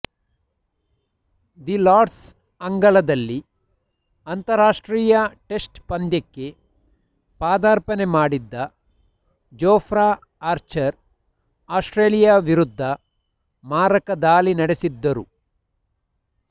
the Lord's ಅಂಗಳದಲ್ಲಿ ಅಂತಾರಾಷ್ಟ್ರೀಯ test ಪಂದ್ಯಕ್ಕೆ ಪದಾರ್ಪಣೆ ಮಾಡಿದ್ದ ಜೊಫ್ರಾ ಆರ್ಚರ್ ಆಸ್ಟ್ರೇಲಿಯಾ ವಿರುದ್ಧ ಮಾರಕ ದಾಳಿ ನಡೆಸಿದ್ದರು